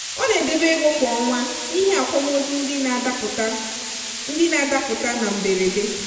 ọ na-edebe ego kwa ọnwa n'ihi akwamozu ndị na-adapụta ndị na-adapụta na mberede.